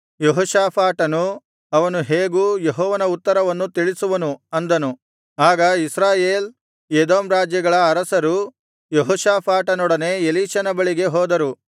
ಯೆಹೋಷಾಫಾಟನು ಅವನು ಹೇಗೂ ಯೆಹೋವನ ಉತ್ತರವನ್ನು ತಿಳಿಸುವನು ಅಂದನು ಆಗ ಇಸ್ರಾಯೇಲ್ ಎದೋಮ್ ರಾಜ್ಯಗಳ ಅರಸರು ಯೆಹೋಷಾಫಾಟನೊಡನೆ ಎಲೀಷನ ಬಳಿಗೆ ಹೋದರು